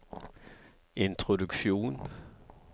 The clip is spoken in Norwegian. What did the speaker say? introduksjon